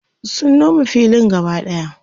sun Nome filin gaba ɗaya